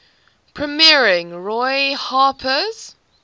premiering roy harper's